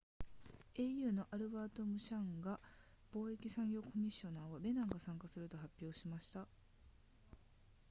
au のアルバートムシャンガ貿易産業コミッショナーはベナンが参加すると発表しました